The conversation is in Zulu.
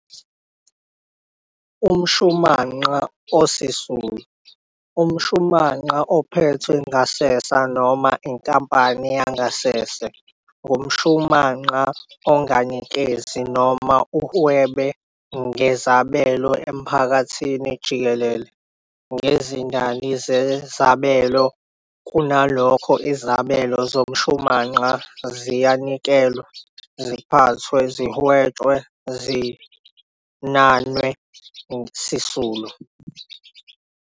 UmShumanqa osisulu, umShumanqa ophethwe ngasese noma inkampani yangasese, ngumshunanqa onganikezi noma uhwebe ngezabelo emphakathini jikelele ngezindayi zazabelo, kunalokho izabelo zomshumanqa ziyanikelwa, ziphathwe, zihwetshwe, zinanwe sisulu.